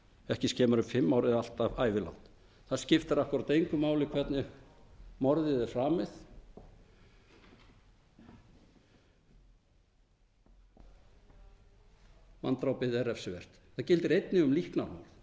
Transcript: ekki skemur en fimm ár eða allt að ævilangt það skiptir akkúrat engu máli hvernig morðið er framið manndrápið er refsivert það gildir einnig um líknarmorð þau eru